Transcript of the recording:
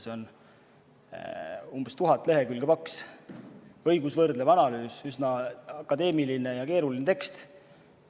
See on umbes tuhat lehekülge paks, õigusvõrdlev analüüs, üsna akadeemiline ja keeruline tekst.